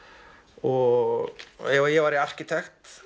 og ef ég væri arkitekt